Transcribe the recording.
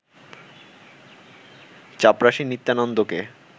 চাপরাশী নিত্যানন্দকে